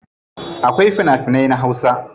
Akwai fina finai na hausa.